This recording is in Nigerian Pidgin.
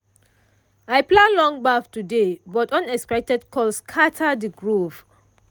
i plan long baff today but unexpected call scatter the groove.